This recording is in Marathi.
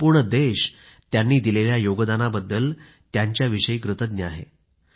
संपूर्ण देश त्यांनी दिलेल्या योगदानाबद्दल कृतज्ञ आहे